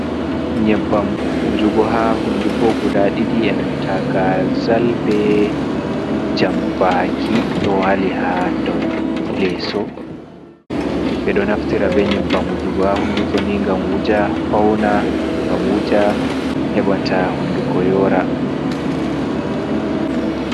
Nyebbam wujugo ha hunduko guda ɗiɗi e'nanta gazal be jambaki ɗo wali ha dau leso ɓe ɗo naftira be nyebbam wujugo ha hunduko ni ngam wuja fauna, ngam wuja heba ta hunduko yora.